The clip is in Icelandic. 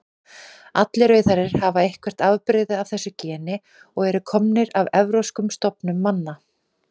Allir rauðhærðir hafa eitthvert afbrigði af þessu geni og eru komnir af evrópskum stofnum manna.